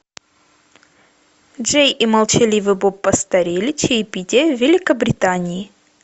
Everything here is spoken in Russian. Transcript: джей и молчаливый боб постарели чаепитие в великобритании